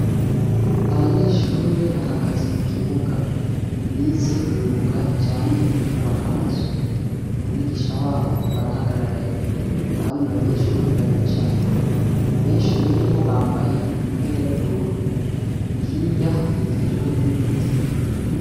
Abanyeshure bahagaze mu kibuga. Bize imyuga ijanye n'ukubaka amazu. Umwigisha wabo barahagararanye. Abandi banyeshure baricaye. Benshi muri bo bambaye imipira y'ubururu. Hirya hakikijwe n'ibiti.